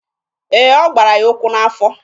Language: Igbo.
Ee, ọ gbara ya ụkwụ n'afọ.